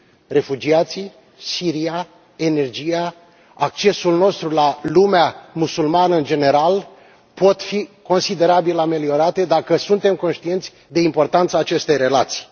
Refugiații, Siria, energia, accesul nostru la lumea musulmană, în general, pot fi considerabil ameliorate dacă suntem conștienți de importanța acestei relații.